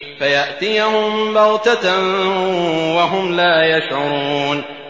فَيَأْتِيَهُم بَغْتَةً وَهُمْ لَا يَشْعُرُونَ